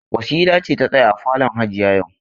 Wasila ce ta tsaya a falon hajiya yau.